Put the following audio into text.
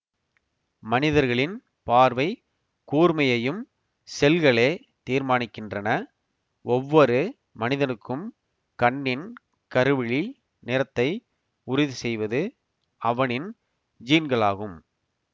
மனிதர்களின் பார்வை கூர்மையையும் செல்களே தீர்மானிக்கின்றன ஒவ்வொரு மனிதனுக்கும் கண்ணின் கருவிழி நிறத்தை உறுதி செய்வது அவனின் ஜீன்களாகும்